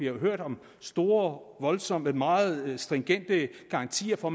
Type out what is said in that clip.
jo hørt om store voldsomme meget stringente garantier for